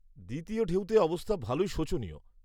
দ্বিতীয় ঢেউতে অবস্থা ভালোই শোচনীয়।